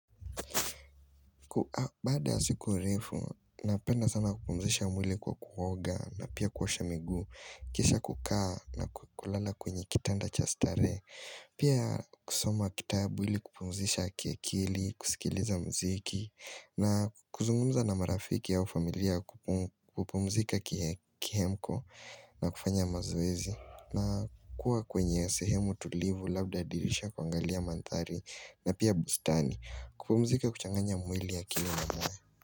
Baada siku refu, napenda sana kupumzisha mwili kwa kuoga na pia kuosha miguu. Kisha kukaa na kulala kwenye kitanda cha starehe. Pia kusoma kitabu ili kupumzisha kiakili, kusikiliza mziki na kuzungumza na marafiki au familia kupumzika kihemko na kufanya mazoezi. Na kuwa kwenye sehemu tulivu labda dirisha kuangalia mandhari na pia bustani kupumzika kuchanganya mwili akili mwili.